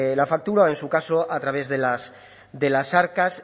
la factura o en su caso a través de las arcas